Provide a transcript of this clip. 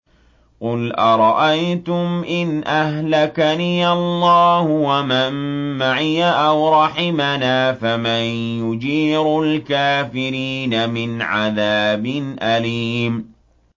قُلْ أَرَأَيْتُمْ إِنْ أَهْلَكَنِيَ اللَّهُ وَمَن مَّعِيَ أَوْ رَحِمَنَا فَمَن يُجِيرُ الْكَافِرِينَ مِنْ عَذَابٍ أَلِيمٍ